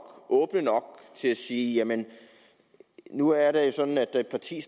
til at sige jamen nu er det sådan at et parti